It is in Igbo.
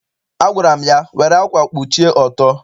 Agwara m ya, were ákwà kpuchie ọtọ!